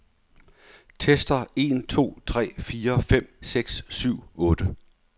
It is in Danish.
Tester en to tre fire fem seks syv otte.